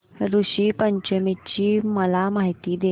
ऋषी पंचमी ची मला माहिती दे